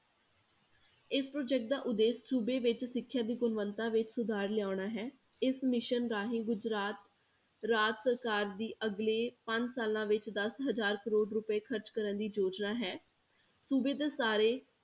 ਇਸ project ਦਾ ਉਦੇਸ਼ ਸੂਬੇ ਵਿੱਚ ਸਿੱਖਿਆ ਦੀ ਗੁਣਵਤਾ ਵਿੱਚ ਸੁਧਾਰ ਲਿਆਉਣਾ ਹੈ, ਇਸ mission ਰਾਹੀਂ ਗੁਜ਼ਰਾਤ ਰਾਜ ਸਰਕਾਰ ਦੀ ਅਗਲੇ ਪੰਜ ਸਾਲਾਂ ਵਿੱਚ ਦਸ ਹਜ਼ਾਰ ਕਰੌੜ ਰੁਪਏ ਖ਼ਰਚ ਕਰਨ ਦੀ ਯੋਜਨਾ ਹੈ, ਸੂਬੇ ਦੇ ਸਾਰੇ